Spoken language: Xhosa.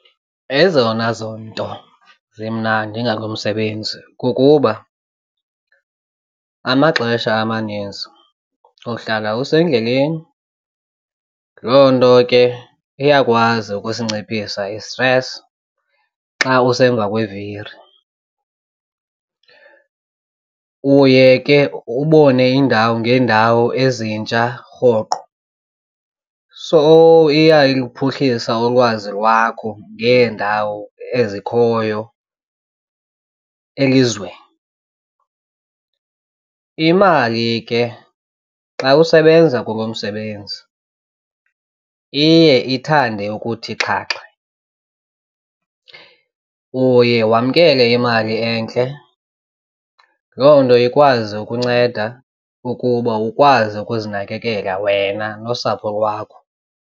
Ezona zonto zimnandi ngalo msebenzi kukuba amaxesha amaninzi uhlala usendleleni, loo nto ke iyakwazi ukusinciphisa isitresi xa usemva kweviri. Uye ke ubone iindawo ngeendawo ezintsha rhoqo. So iyaluphuhlisa ulwazi lwakho ngeendawo ezikhoyo elizweni, imali ke xa usebenza kulo msebenzi iye ithande ukuthi xhaxhe. Uye wamkele imali entle loo nto ikwazi ukunceda ukuba ukwazi ukuzinakekela wena nosapho lwakho.